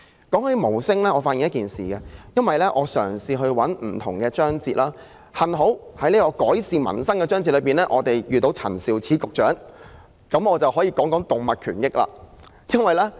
就無法為自己發聲方面，我曾翻閱各個章節，幸好改善民生的章節屬於陳肇始局長的職權範圍，我便可以談談動物權益的事宜。